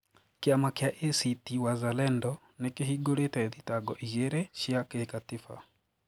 Kiama kia ACT-Wazalendo nikihingũrite thitango ĩgĩrĩ cia gikatiba